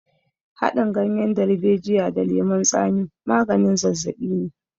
Haɗin ganyen darbejiya da lemon tsami maganin zazzaɓi ne.